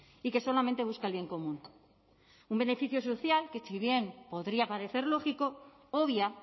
y que solamente busca el bien común un beneficio social que si bien podría parecer lógico obvia